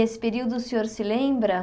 E esse período o senhor se lembra?